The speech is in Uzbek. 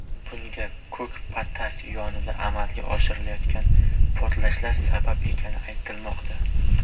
Bunga Ko‘kpatas konida amalga oshirilayotgan portlashlar sabab ekani aytilmoqda.